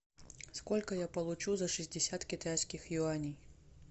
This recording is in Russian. сколько я получу за шестьдесят китайских юаней